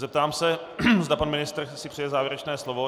Zeptám se, zda pan ministr si přeje závěrečné slovo.